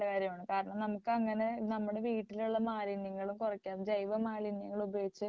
കാരണം നമുക്ക് അങ്ങനെ നമ്മുടെ വീട്ടിലുള്ള മാലിന്യങ്ങള് കുറയ്ക്കാം ജൈവമാലിന്യങ്ങളുപയോഗിച്ച്